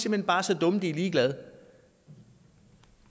hen bare er så dumme at de er ligeglade